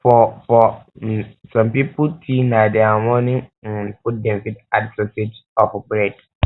for for um some pipo tea na their morning um food dem fit add um sausages or bread